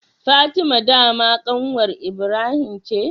Fatima dama kanwar Ibrahim ce?